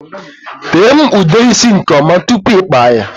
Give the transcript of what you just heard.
Tee m ude isi nke ọma tụpụ i kpaa ya!!!